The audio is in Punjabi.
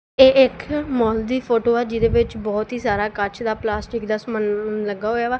ਇਹ ਇੱਖ ਮੌਲ ਦੀ ਫੋਟੋ ਐ ਜਿਹਦੇ ਵਿੱਚ ਬਹੁਤ ਹੀ ਸਾਰਾ ਕੱਚ ਦਾ ਪਲਾਸਟਿਕ ਦਾ ਸਮਾਨ ਲੱਗਾ ਹੋਇਆ ਵਾ।